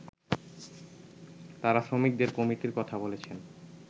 তারা শ্রমিকদের কমিটির কথা বলেছেন